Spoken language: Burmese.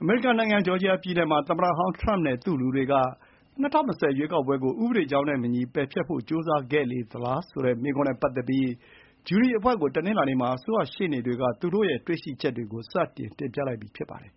အမေရိကန်နိုင်ငံ ဂျော်ဂျီယာပြည်နယ်မှာ သမ္မတဟောင်းထရမ့်နဲ့ သူ့လူတွေက ၂၀၂၀ ရွေးကောက်ပွဲကို ဥပဒေကြောင်းနဲ့မညီ ပယ်ဖျက်ဖို့ကြိုးစားခဲ့သလားဆိုတဲ့ မေးခွန်းနဲ့ပတ်သက်ပြီး အထူးဂျူရီတရားသူကြီးကို တနင်္လာနေ့မှာ အစိုးရရှေ့နေတွေက စတင် တင်ပြလိုက်ပြီ ဖြစ်ပါတယ်